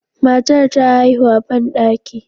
Matar ta haihu a bandaki.